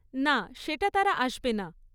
না, সেটা তারা আসবে না।